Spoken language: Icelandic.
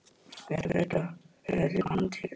Ég hélt að Bretar hefðu líka handtekið þig?